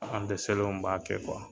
An dɛsɛlen b'a kɛ